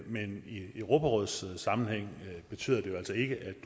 men i europarådssammenhæng betyder det altså ikke at du